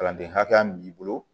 Kalanden hakɛya min b'i bolo